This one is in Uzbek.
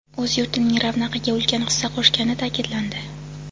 o‘z yurtining ravnaqiga ulkan hissa qo‘shgani ta’kidlandi.